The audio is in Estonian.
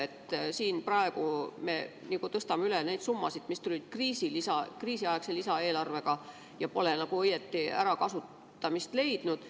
Me tõstame praegu üle neid summasid, mis tulid kriisiaegse lisaeelarvega ja mis pole nagu õieti ärakasutamist leidnud.